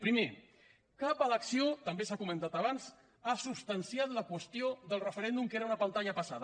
primer cap elecció també s’ha comentat abans ha substanciat la qüestió del referèndum que era una pantalla passada